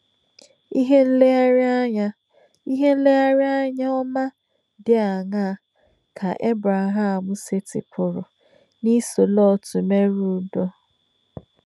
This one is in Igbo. Ìhè nlèrèànyà Ìhè nlèrèànyà ọ̀má dì àṅáà kè Èbrèhàm sètìpùrù n’ísọ̀ Lọt mèrè ùdọ̀?